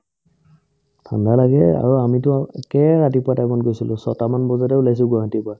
ঠাণ্ডা লাগেই আৰু আমিতো আৰু একে ৰাতিপুৱাৰ time ত গৈছিলো ছয়টা মান বজাতে ওলাইছো গুৱাহাটীৰ পৰা